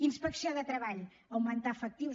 inspecció de treball augmentar hi efectius